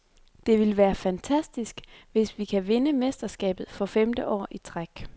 Det vil være fantastisk, hvis vi kan vinde mesterskabet for femte år i træk.